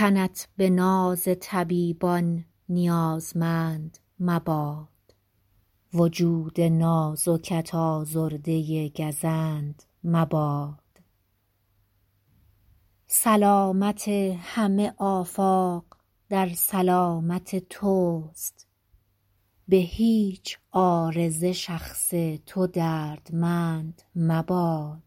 تنت به ناز طبیبان نیازمند مباد وجود نازکت آزرده گزند مباد سلامت همه آفاق در سلامت توست به هیچ عارضه شخص تو دردمند مباد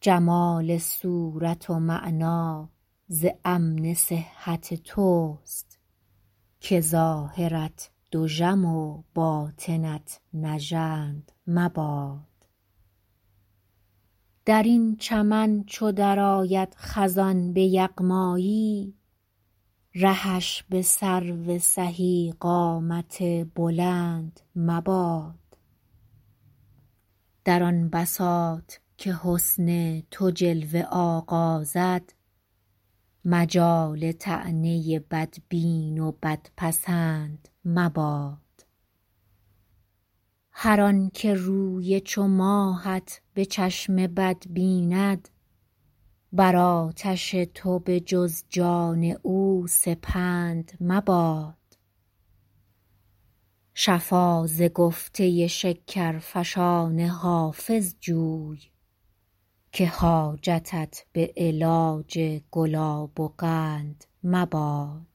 جمال صورت و معنی ز امن صحت توست که ظاهرت دژم و باطنت نژند مباد در این چمن چو درآید خزان به یغمایی رهش به سرو سهی قامت بلند مباد در آن بساط که حسن تو جلوه آغازد مجال طعنه بدبین و بدپسند مباد هر آن که روی چو ماهت به چشم بد بیند بر آتش تو به جز جان او سپند مباد شفا ز گفته شکرفشان حافظ جوی که حاجتت به علاج گلاب و قند مباد